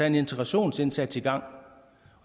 en integrationsindsats i gang